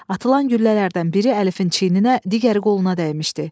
Atılan güllələrdən biri Əlifin çiyninə, digəri qoluna dəymişdi.